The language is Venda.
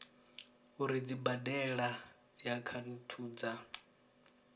uri dzi badela dziakhaunthu dza